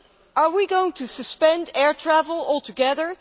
Are we going to suspend air travel altogether?